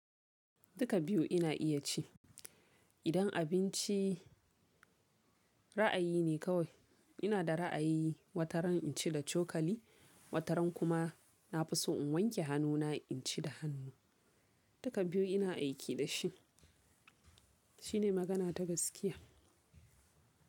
Duka biyu ina iya ci. Idan abinci ra'ayi ne kawai, ina da ra'ayi wataran in ci da cokali, wataran kuma na fi so in wanke hannuna in ci da hannu. Duka biyu ina aiki da shi. Shine magana ta gaskiya.